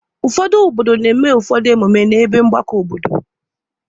Ụfọdụ obodo na-eme ụfọdụ emume n'ebe mgbakọ obodo.